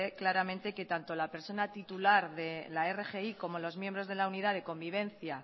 claramente que tanto la persona titular de la rgi como los miembros de la unidad de convivencia